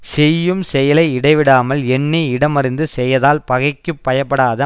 செய்யும் செயலை இடைவிடாமல் எண்ணி இடம் அறிந்து செயதால் பகைக்குப் பயப்படாத